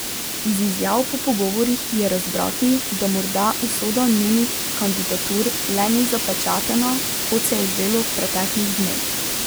Iz izjav po pogovorih je razbrati, da morda usoda njunih kandidatur le ni zapečatena, kot se je zdelo v preteklih dneh.